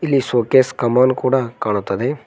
ಇಲ್ಲಿ ಶೋಕೇಸ್ ಕಂಬವನ್ನು ಕೂಡ ಕಾಣುತ್ತದೆ.